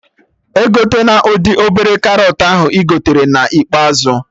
Egotena ụdị obere karọt ahụ ị gotere na ikpeazụ